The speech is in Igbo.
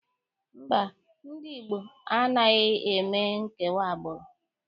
Mba, ndị Igbo anaghị eme nkewa agbụrụ.